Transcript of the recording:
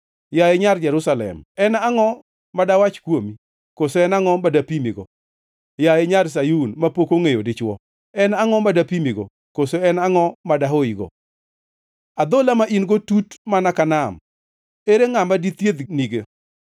Yaye Nyar Jerusalem, en angʼo madawach kuomi? Koso en angʼo ma dapimigo? Yaye Nyar Sayun mapok ongʼeyo dichwo, en angʼo ma dapimigo, koso en angʼo ma dahoyigo? Adhola ma in-go tut mana ka nam. Ere ngʼama dithiedhnigo?